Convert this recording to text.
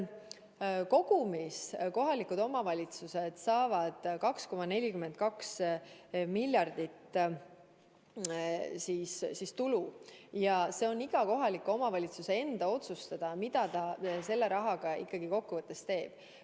Kogumina saavad kohalikud omavalitsused 2,42 miljardit eurot tulu ja on iga kohaliku omavalitsuse enda otsustada, mida ta selle rahaga teeb.